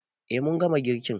Eh mun gama girkin